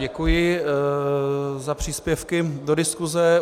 Děkuji za příspěvky do diskuse.